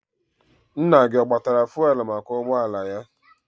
Nna gị ọ gbatara fụelụ maka ụgbọala ya?